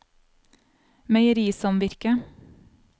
meierisamvirket